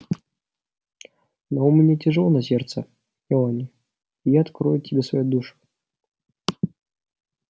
но у меня тяжело на сердце мелани и я открою тебе свою душу